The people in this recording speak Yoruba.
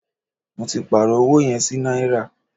Mó tí pàárọ̀ ọwọ yẹn sí náírà.